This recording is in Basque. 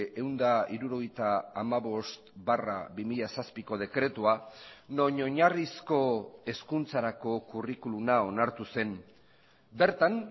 ehun eta hirurogeita hamabost barra bi mila zazpiko dekretua non oinarrizko hezkuntzarako curriculuma onartu zen bertan